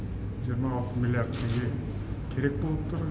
жиырма алты миллиард теңге керек болып тұр